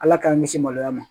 Ala k'an kisi maloya ma